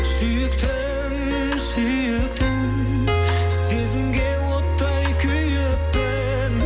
сүйіктім сүйіктім сезімге оттай күйіппін